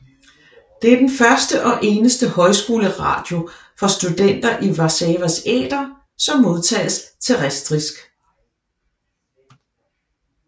Det er den første og eneste højskoleradio for studenter i Warszawas æter som modtages terrestrisk